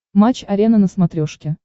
матч арена на смотрешке